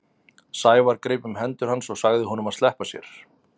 Sævar greip um hendur hans og sagði honum að sleppa sér.